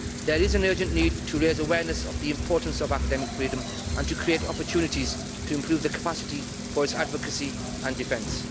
There is an urgent need to raise awareness of the importance of academic freedom and to create opportunities to improve the capacity for its advocacy and defence.